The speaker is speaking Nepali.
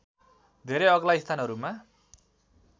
धेरै अग्ला स्थानहरूमा